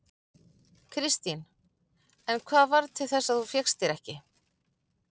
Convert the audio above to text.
Kristín: En hvað varð til þess að þú fékkst þér ekki?